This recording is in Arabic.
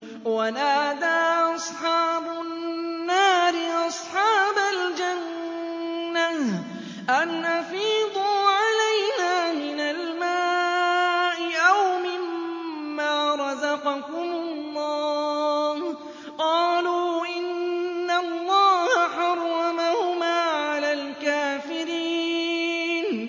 وَنَادَىٰ أَصْحَابُ النَّارِ أَصْحَابَ الْجَنَّةِ أَنْ أَفِيضُوا عَلَيْنَا مِنَ الْمَاءِ أَوْ مِمَّا رَزَقَكُمُ اللَّهُ ۚ قَالُوا إِنَّ اللَّهَ حَرَّمَهُمَا عَلَى الْكَافِرِينَ